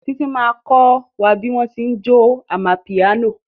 Títí ma kọ́ bí wọ́n tí ń jó amapiano